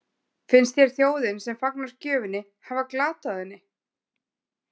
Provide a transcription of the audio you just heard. Finnst þér þjóðin sem fagnar gjöfinni hafa glatað henni?